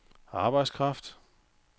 arbejdskraft